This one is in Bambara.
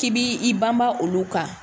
K'i bi banba olu ka.